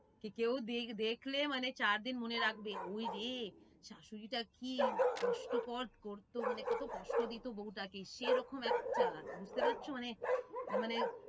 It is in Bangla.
কি কেউ দেখলে মানে চার দিন মনে রাখবে ওই রে শাশুড়িটার কি কষ্ট কর করতো মানে কত কষ্ট দিতো বউটাকে সে এরকম একটা বুঝতে পারছো মানে মানে